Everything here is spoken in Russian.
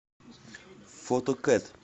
фото кэт